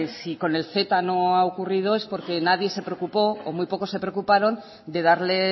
si con el ceta no ha ocurrido es porque nadie se preocupó o muy poco se preocuparon de darle